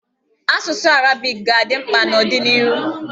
Asụsụ arabiki ga-adị mkpa n'ọdịnịhu.